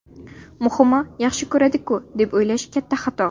Muhimi yaxshi ko‘radi-ku”, deb o‘ylash katta xato.